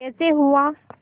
कैसे हुआ